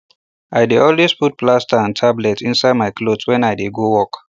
i dey always put plaster and tablet inside my cloth when i dey go work